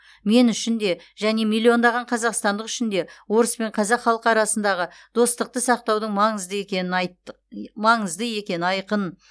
мен үшін де және миллиондаған қазақстандық үшін де орыс пен қазақ халқы арасындағы достықты сақтаудың маңызды екені айқын